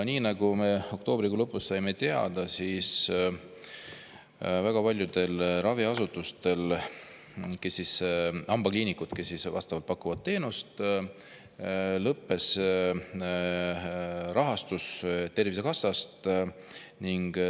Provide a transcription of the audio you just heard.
Nagu me oktoobrikuu lõpus saime teada, väga paljudel raviasutustel, hambakliinikutel, kes vastavat teenust pakuvad, lõppes rahastus Tervisekassast.